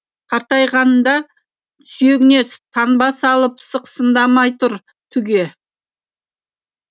қартайғанда сүйегіне таңба салып сықсыңдамай тұр түге